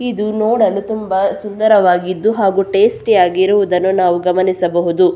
ಇದು ನೋಡಲು ತುಂಬಾ ಸುಂದರವಾಗಿದ್ದು ಹಾಗು ಟೇಸ್ಟಿ ಆಗಿರುವುದನ್ನು ನಾವು ಗಮನಿಸಬಹುದು.